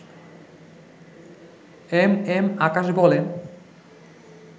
M M Akash বলেন